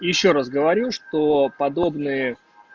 ещё раз говорю что подобные